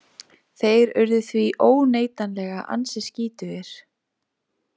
Þeir urðu því óneitanlega ansi skítugir.